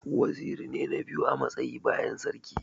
Waziri ne na biyu a matsayi bayan sarki.